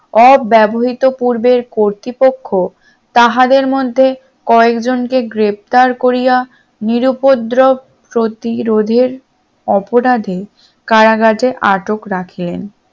অব্যবহৃত পূর্বে কর্তৃপক্ষ তাহাদের মধ্যে কয়েকজনকে গ্রেফতার করিয়া নিরুউপদ্রব প্রতিরোধের অপরাধে কারাগারে আটক রাখেন